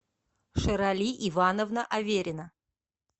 шерали ивановна аверина